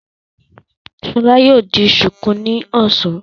Ṣọlá yóò di ṣùkú ní ọ̀sán.